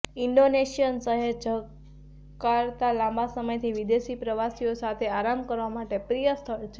Indonesian શહેર Jakarta લાંબા સમયથી વિદેશી પ્રવાસીઓ સાથે આરામ કરવા માટે પ્રિય સ્થળ છે